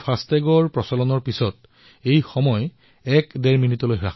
কিন্তু fast tag অহাৰ পিছত এই সময় ডেৰৰ পৰা দুই মিনিট হৈছে